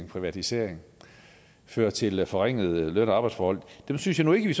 privatisering ført til forringede løn og arbejdsforhold dem synes jeg nu ikke vi